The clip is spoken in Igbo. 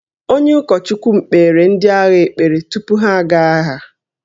Onye ụkọchukwu m kpeere ndị agha ekpere tupu ha aga agha